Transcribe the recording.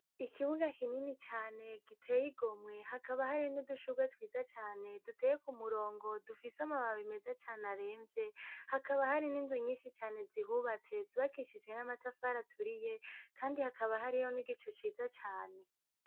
Ikibuga kinini cane giteye igomwe, hakaba hari n'udushugwe twiza cane duteye ku murongo dufise amababi meza cane aremvye, hakaba hari n'inzu nyinshi cane zihubatse, zubakishijwe n'amatafari aturiye kandi hakaba hariho n'igicu ciza cane.